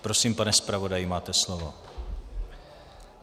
Prosím, pane zpravodaji, máte slovo.